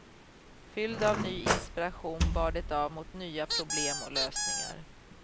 Fylld av ny inspiration bar det av mot nya problem och lösningar.